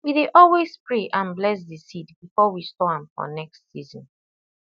we dey always pray and bless the seed before we store am for next season